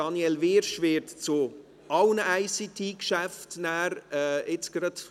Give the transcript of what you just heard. Daniel Wyrsch wird zu fast allen ICT-Geschäften sprechen.